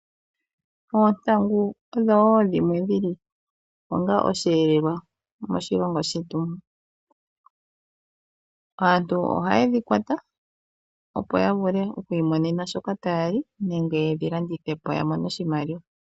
Oontangu odho wo dhimwe dhili onga osheelelwa moshilongo shetu. Aantu ohaye dhi kwata, opo ya vule oku imonena shoka taya li nenge yedhi landithe po, ya mone oshimaliwa.